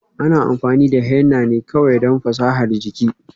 Ana amfani da henna ne kawai don fasahar jiki.